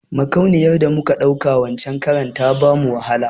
Makauniyar da muka ɗauka wancen karan ta bamu wahala